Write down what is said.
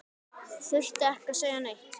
Þurfti ekki að segja neitt.